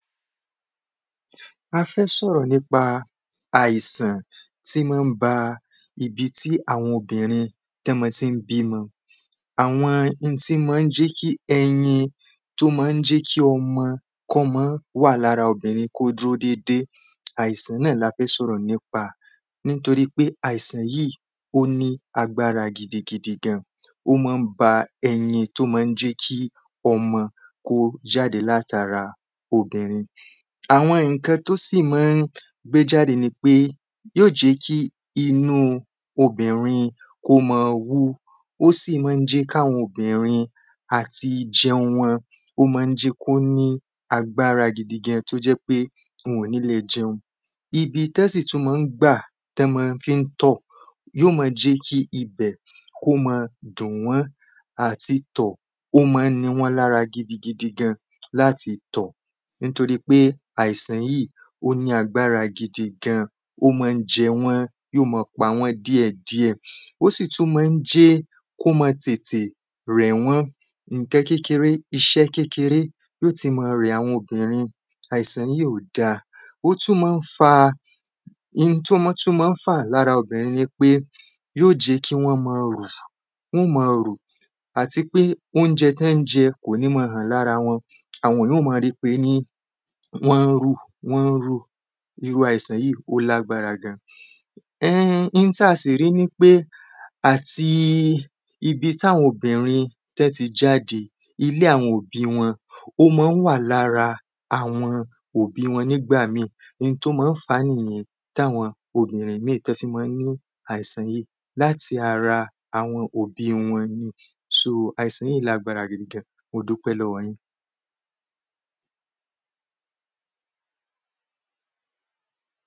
a fẹ́ sọ̀rọ̀ nípa àìsàn tí má ń ba ibi tí àwọn obìnrin tọ́ mọ tí ń bímọ àwọn n tí má ń jí ki ẹyin tó má ń jí ki ọmọ kọ́mọ́ wà lára obìnrin kó dúró dédé àìsàn náà la fẹ́ sọ̀rọ̀ nípa àìsàn yíì ó ní agbárá gidi gan ó má ń ba ẹyin tó má ń jẹ́ ki ọmọ kó jáde látara obìnrin àwọn ǹkan tó sì má ń gbé jáde ni pé yóò jí kí inúu obìnrin kó ma wú ó sì má ń jí káwọn obìnrin ati jiun wọn ó má ń jí kó ní agbárá gidi gan wọn ò ní le jiun ibi tọ́ sì tú ma ń gbà tọ́ ma fí ń tọ̀ yó ma jí kí ibẹ̀ kó ma dùn wọ́n àti tọ̀ ó má ń ni wọ́n lára gidi gidi gan láti tọ̀ nítorí pe àìsàn yíì ó ní agbára gidi gan ó má ń jẹ wọ́ yóò pa wọ́n díẹ̀ díẹ̀ ó sì tú má ń jẹ́ kó ma tètè rẹ̀ wọ́n ǹkan kékeré iṣẹ́ kékeré yó ti ma rẹ àwọn obìnrin àìsàn yíì ò da ó tú má n fa in tó ma tú má ń fà lára obìnrin ni pé yó ó jí kí wọ́n ma rù wọ́n ma rù àti pé óunjẹ tẹ́ ń jẹ kò ní ma hàn lára wọn àwọn yàn ó ma ri pé ní wọ́n ma rù wọ́n ma rù irú àìsàn yíì ó lágbára gan n táa sì rí ní pé àti ibi táwọn obìnrin tẹ́ ti jáde ilé àwọn òbí wọn ó má ń wà lára àwọn òbí wọn nígbà míì n tó ma ń fàá nìyẹn táwọn obìnrin míì tọ́ fi ma n ni àìsàn yíì láti ara àwọn òbí wọn ni sóò, àìsàn yíì lágbára gidi gan modúpẹ́ lọ́wọ́ yín